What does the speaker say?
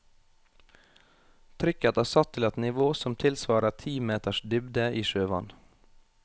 Trykket er satt til et nivå som tilsvarer ti meters dybde i sjøvann.